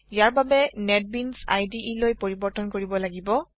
ইয়াৰ বাবে NetBeans IDE লৈ পৰিবৰ্তন কৰিব লাগিব